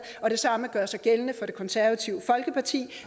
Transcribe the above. og det samme gør sig gældende for det konservative folkeparti